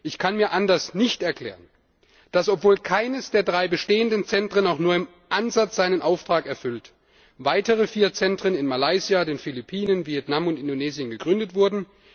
Ich kann mir anders nicht erklären, dass, obwohl keines der drei bestehenden Zentren seinen Auftrag auch nur im Ansatz erfüllt, weitere vier Zentren in Malaysia, den Philippinen, Vietnam und Indonesien gegründet wurden.